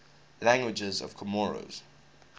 languages of comoros